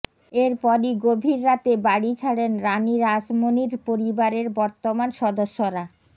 এরপরই গভীর রাতে বাড়ি ছাড়েন রাণী রাসমনির পরিবারের বর্তমান সদস্যরা